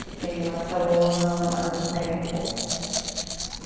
Fiquei em Barcelona mais um tempo.